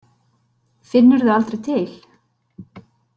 Finnurðu aldrei til.